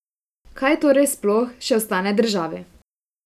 Kaj torej sploh še ostane državi?